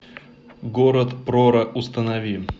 город прора установи